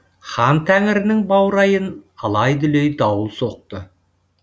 хан тәңірінің баурайын алай дүлей дауыл соқты